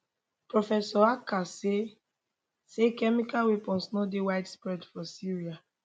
professor achcar say say chemical weapons no dey widespread for syria